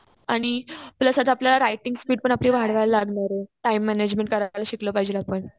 आणि प्लस आता आपल्याला रायटिंग स्पीड पण आपली वाढवायला लागणार आहे. टाइम मॅनेजमेंट करायला शिकलं पाहिजे आपण.